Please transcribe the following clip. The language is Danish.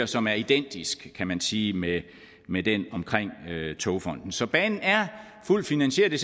som er identisk kan man sige med med den omkring togfonden dk så banen er fuldt finansieret og